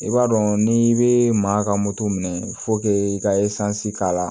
I b'a dɔn n'i bɛ maa ka moto minɛ i ka k'a la